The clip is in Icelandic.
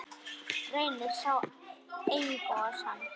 Reynir að sjá einsog hann.